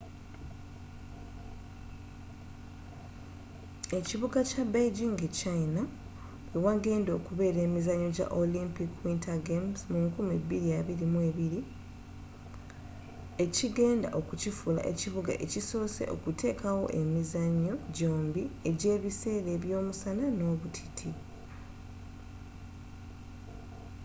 ekibuga kya beijing e china we wagenda okubeera emizannyo gya olympic winter games mu 2022 ekigenda okukifuula ekibuga ekisose okutekawo emizannyo gyombi egya ebiseera eby'omusana n'obutiti